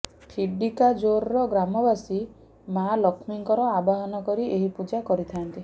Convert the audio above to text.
ଠିଡିକାଯୋରର ଗ୍ରାମବାସୀ ମାଆ ଲକ୍ଷ୍ମୀଙ୍କର ଆବାହନ କରି ଏହି ପୂଜା କରିଥାନ୍ତି